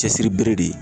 Cɛsiri bere de